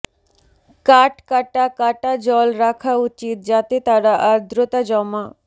কাট কাটা কাটা জল রাখা উচিত যাতে তারা আর্দ্রতা জমা